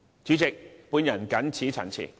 主席，我謹此陳辭。